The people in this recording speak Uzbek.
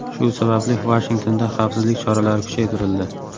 Shu sababli Vashingtonda xavfsizlik choralari kuchaytirildi .